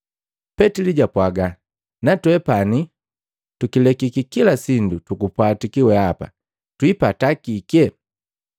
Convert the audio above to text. Petili japwaga, “Natwepani, tukilekiki kila sindu tukupwatiki weapa twiipata kike?”